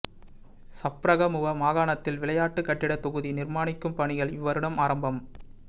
சப்ரகமுவ மாகாணத்தில் விளையாட்டு கட்டிடத் தொகுதி நிர்மாணிக்கும் பணிகள் இவ்வருடம் ஆரம்பம்